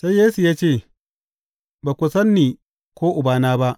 Sai Yesu ya ce, Ba ku san ni ko Ubana ba.